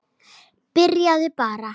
Byrjaðu bara.